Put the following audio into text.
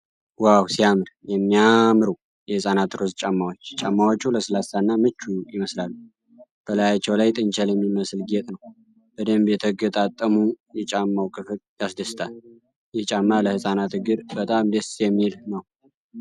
ዋው ሲያምር! የሚያማምሩ የሕፃናት ሮዝ ጫማዎች! ጫማዎቹ ለስላሳ እና ምቹ ይመስላሉ። በላያቸው ላይ ጥንቸል የሚመስል ጌጥ ነው። በደንብ የተገጣጠመው የጫማው ክፍል ያስደስታል። ይህ ጫማ ለሕፃናት እግር በጣም ደስ የሚል ነው።